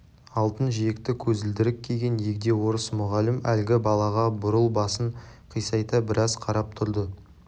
алтын жиекті көзілдірік киген егде орыс мұғалім әлгі балаға бурыл басын қисайта біраз қарап тұрды